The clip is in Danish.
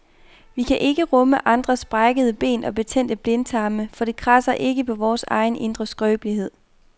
Vi kan rumme andres brækkede ben og betændte blindtarme, for det kradser ikke på vores egen indre skrøbelighed.